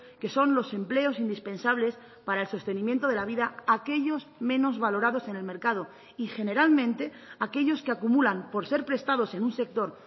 que son los empleos indispensables para el sostenimiento de la vida aquellos menos valorados en el mercado y generalmente aquellos que acumulan por ser prestados en un sector